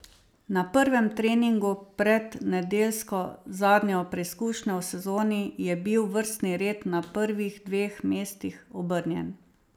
Na prvem treningu pred nedeljsko zadnjo preizkušnjo v sezoni je bil vrstni red na prvih dveh mestih obrnjen.